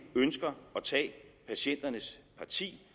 ønsker at tage patienternes parti